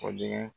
Kɔdimi